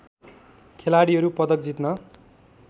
खेलाडीहरू पदक जित्न